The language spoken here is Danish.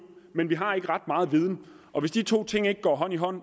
men vi har ikke ret meget viden og hvis de to ting ikke går hånd i hånd